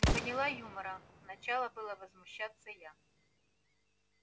не поняла юмора начала было возмущаться я